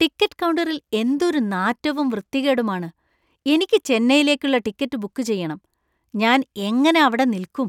Ticket കൗണ്ടറിൽ എന്തൊരു നാറ്റവും വൃത്തികേടുമാണ്. എനിക്ക് ചെന്നൈയിലേക്കുള്ള ടിക്കറ്റ് ബുക്ക് ചെയ്യണം, ഞാൻ എങ്ങനെ അവിടെ നിൽക്കും?